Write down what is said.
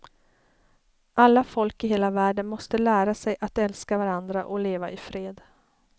Alla folk i hela världen måste lära sig att älska varandra och leva i fred.